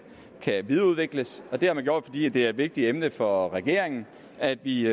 videreudvikles og det har man gjort fordi det er et vigtigt emne for regeringen at vi